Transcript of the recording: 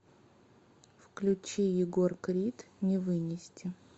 включи егор крид не вынести